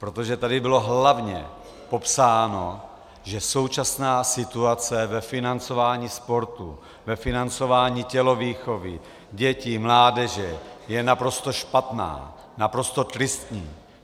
Protože tady bylo hlavně popsáno, že současná situace ve financování sportu, ve financování tělovýchovy dětí, mládeže, je naprosto špatná, naprosto tristní.